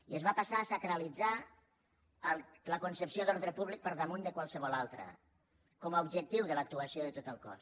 i es va passar a sacralitzar la concepció d’ordre públic per damunt de qualsevol altra com a objectiu de l’actuació de tot el cos